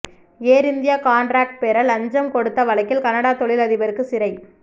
ஏர் India contract பெற லஞ்சம் கொடுத்த வழக்கில் கனடா தொழில் அதிபருக்கு சிறை